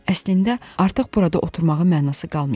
Əslində artıq burada oturmağın mənası qalmayıb.